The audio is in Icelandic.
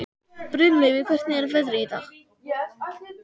Brynleifur, hvernig er veðrið í dag?